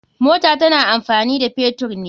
Mota tana amfani a fetur ne.